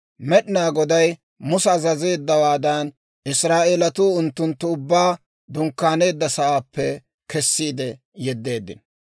Med'inaa Goday Musa azazeeddawaadan, Israa'eelatuu unttunttu ubbaa dunkkaaneedda sa'aappe kessiide yeddeeddino.